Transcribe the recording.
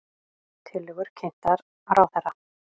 Tillögur kynntar ráðherra